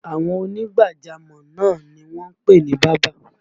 Àwọn ònígbàjámọ̀ náà ni wọ́n ń pè ní bábà